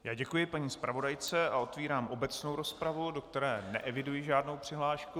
Já děkuji paní zpravodajce a otvírám obecnou rozpravu, do které neeviduji žádnou přihlášku.